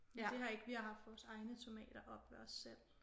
Men det har ik vi har haft vores egne tomater oppe ved os selv